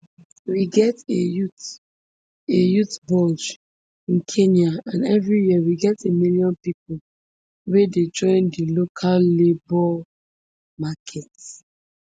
we get a youth a youth bulge in kenya and every year we get a million pipo wey dey join di local labour market